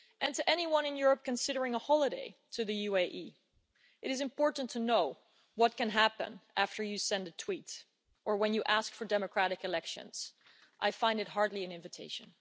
To anyone in Europe considering a holiday in the UAE, it is important to know what can happen after you send a tweet or when you ask for democratic elections. I find it hardly an invitation.